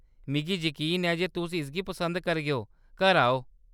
मिगी यकीन ऐ जे तुस इसगी पसंद करगेओ ; घर आओ !